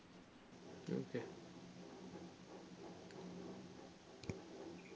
okey